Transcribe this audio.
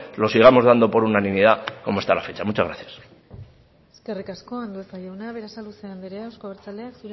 los sigamos dando por unanimidad como hasta la fecha muchas gracias eskerrik asko andueza jauna berasaluze andrea euzko abertzaleak